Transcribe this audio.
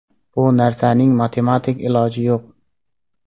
Bu narsaning matematik iloji yo‘q.